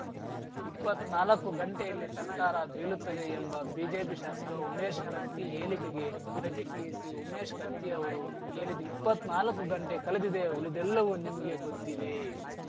ಇಪ್ಪತ್ ನಾಲ್ಕು ಗಂಟೆಯಲ್ಲಿ ಸರ್ಕಾರ ಬೀಲುತ್ತದೆ ಎಂಬ ಬಿಜೆಪಿ ಶಾಸಕ ಉಮೇಶ್‌ ಕತ್ತಿ ಹೇಲಿಕೆಗೆ ಪ್ರತಿಕ್ರಿಯಿಸಿ ಉಮೇಶ್‌ ಕತ್ತಿ ಅವರು ಹೇಲಿದ ಇಪ್ಪತ್ ನಾಲ್ಕು ಗಂಟೆ ಕಲೆದಿದೆ ಉಲಿದೆಲ್ಲವೂ ನಿಮಗೇ ಗೊತ್ತಿದೆ